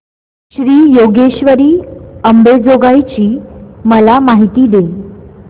श्री योगेश्वरी अंबेजोगाई ची मला माहिती दे